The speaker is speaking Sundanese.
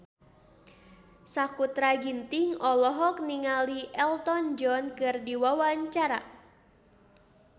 Sakutra Ginting olohok ningali Elton John keur diwawancara